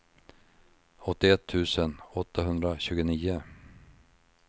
åttioett tusen åttahundratjugonio